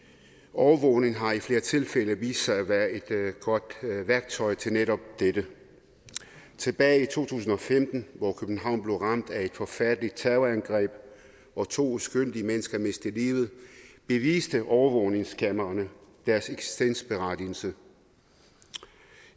overvågning har i flere tilfælde vist sig at være et godt værktøj til netop dette tilbage i to tusind og femten hvor københavn blev ramt af et forfærdeligt terrorangreb og hvor to uskyldige mennesker mistede livet beviste overvågningskameraerne deres eksistensberettigelse